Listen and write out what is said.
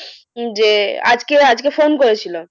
যে আজকে আজকে phone করেছিল,